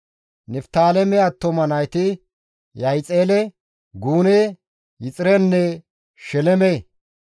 Niftaaleme attuma nayti Yahixele, Gune, Yexirenne Sheleme